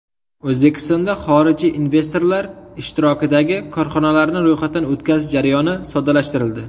O‘zbekistonda xorijiy investorlar ishtirokidagi korxonalarni ro‘yxatdan o‘tkazish jarayoni soddalashtirildi.